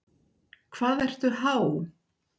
Hvað ertu há?